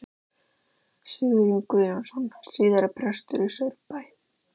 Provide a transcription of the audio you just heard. Sigurjón Guðjónsson, síðar prestur í Saurbæ.